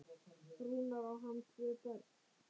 Rúnar, á hann tvö börn.